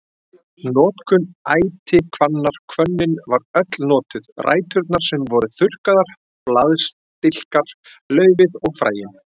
Notkun ætihvannar Hvönnin var öll notuð, ræturnar sem voru þurrkaðar, blaðstilkar, laufið og fræin.